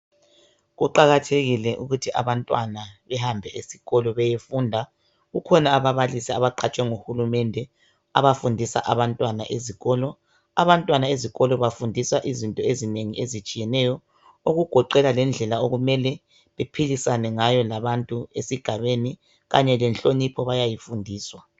kuqakathekile ukuthi abantwana behambe esikolo beyefunda kukhona ababalisi abaqatshwe nguhulumende abafundisa abantwana ezikolo abantwana ezikolo bafundiswa izinto ezinengi ezitshiyeneyo okugoqela lendlela okumele bephilisane ngayo labantu esigabeni kanye lenhlonipho bayayifundiswa